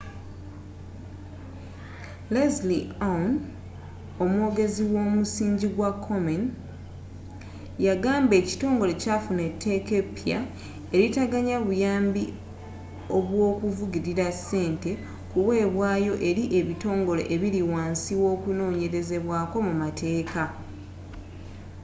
leslie aun omwogezi womusingi gwa komen yagamba ekitongole kyafuna etteeka epya eritaganya buyambi obwokuvugilira ssente kuweebwayo eri ebitongole ebiri wansi w'okunonyerezebwaako mu mateeka